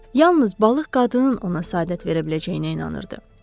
Yalnız balıq qadının ona səadət verə biləcəyinə inanırdı.